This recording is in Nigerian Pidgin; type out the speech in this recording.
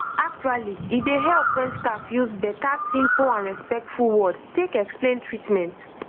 actually e dey help when staff use better simple and respectful word take explain treatment